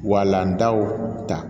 Walandaw ta